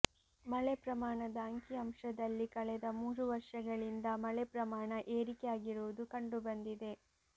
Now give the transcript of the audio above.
ಮಳೆ ಪ್ರಮಾಣದ ಅಂಕಿ ಅಂಶದಲ್ಲಿ ಕಳೆದ ಮೂರು ವರ್ಷಗಳಿಂದ ಮಳೆ ಪ್ರಮಾಣ ಏರಿಕೆ ಆಗಿರುವುದು ಕಂಡು ಬಂದಿದೆ